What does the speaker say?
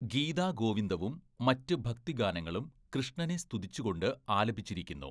ഗീത ഗോവിന്ദവും മറ്റ് ഭക്തിഗാനങ്ങളും കൃഷ്ണനെ സ്തുതിച്ചുകൊണ്ട് ആലപിച്ചിരിക്കുന്നു.